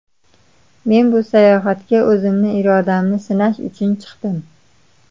Men bu sayohatga o‘zimni irodamni sinash uchun chiqdim.